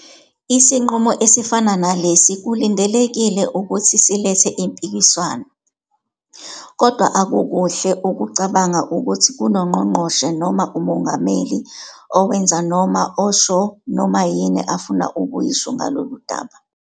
Isinqumo esifana nalesi kulindelekile ukuthi silethe impikiswano, kodwa akukuhle ukucabanga ukuthi kunoNgqongqoshe noma uMongameli owenza noma osho noma yini afuna ukuyisho ngalolu daba.